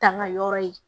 Taama yɔrɔ ye